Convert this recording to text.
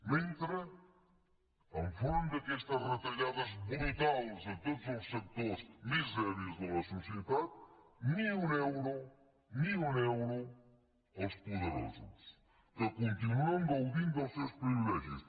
mentrestant enfront d’aquestes retallades brutals a tots els sectors més dèbils de la societat ni un euro ni un euro als poderosos que continuen gaudint dels seus privilegis